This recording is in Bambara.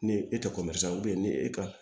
Ni e tɛ ko ni e ka